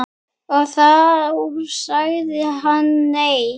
Og þá sagði hann nei.